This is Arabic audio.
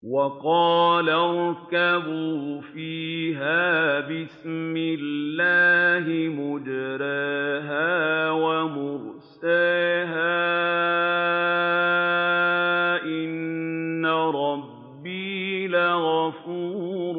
۞ وَقَالَ ارْكَبُوا فِيهَا بِسْمِ اللَّهِ مَجْرَاهَا وَمُرْسَاهَا ۚ إِنَّ رَبِّي لَغَفُورٌ